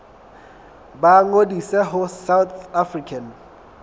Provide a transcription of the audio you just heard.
ba ngodise ho south african